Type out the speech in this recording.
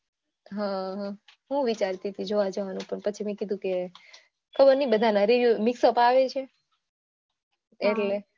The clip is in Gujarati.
હમ હું પણ વિચારતી હતી જોવા જવાનું પણ પછી મેં કીધું કે બધાના review mixup આવે છે એટલે